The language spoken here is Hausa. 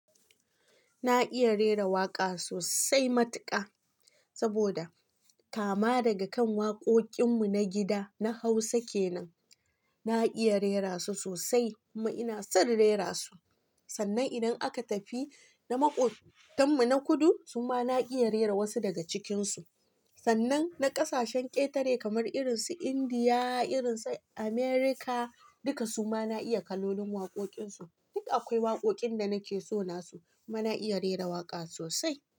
Na iya rera waƙa sosai matuƙa, saboda kama daga kan waƙoƙin mu na gida na Hausa kenan, na iya rera su sosai kuma ina son rera su. Sannan idan aka tafi na maƙotan mu na kudu, su ma na iya rera wasu daga cikin su. Sannan na ƙasashen ƙetare kamar irin su Indiya, irin su America, duka su ma na iya kalolin waƙoƙin su. Duk akwai waƙoƙin da nake so na su kuma na iya rera waƙa sosai.